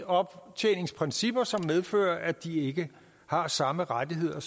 optjeningsprincipper som medfører at de ikke har samme rettigheder